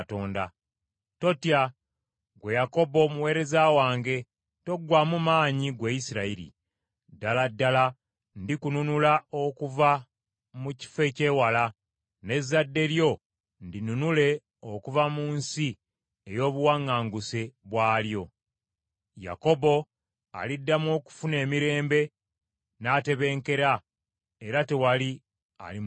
“Totya, ggwe Yakobo omuweereza wange; toggwaamu maanyi, ggwe Isirayiri. Ddala ddala ndikununula okuva mu kifo eky’ewala, n’ezzadde lyo ndinunule okuva mu nsi ey’obuwaŋŋanguse bwalyo. Yakobo aliddamu okufuna emirembe n’atebenkera, era tewali alimutiisa.